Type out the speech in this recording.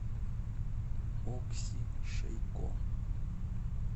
окси шейко